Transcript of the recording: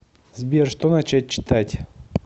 сбер что начать читать